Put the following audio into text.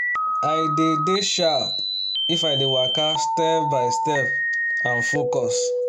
i dey dey sharp if i dey waka step by step and focus